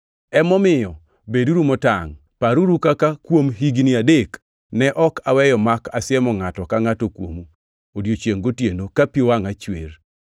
Emomiyo beduru motangʼ! Paruru kaka kuom higni adek ne ok aweyo mak asiemo ngʼato ka ngʼato kuomu odiechiengʼ gotieno, ka pi wangʼa chwer.